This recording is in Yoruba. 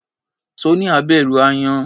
Tonia bẹ̀rù aáyán.